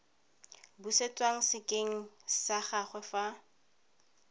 busetswa sekeng sa gagwe fa